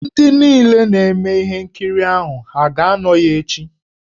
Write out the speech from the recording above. Ndị niile na-eme ihe nkiri ahụ ha aga-anọ ya echị?